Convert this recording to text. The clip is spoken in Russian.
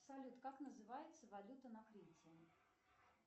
салют как называется валюта на крите